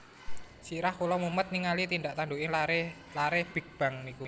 Sirah kula mumet ningali tindak tandukipun lare lare Big Bang niku